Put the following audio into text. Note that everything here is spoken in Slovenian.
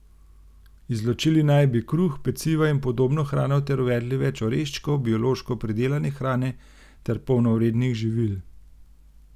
Izločili naj bi kruh, peciva in podobno hrano ter uvedli več oreščkov, biološko pridelane hrane ter polnovrednih živil.